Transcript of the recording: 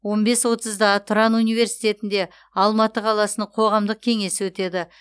он бес отызда тұран университетінде алматы қаласының қоғамдық кеңесі өтеді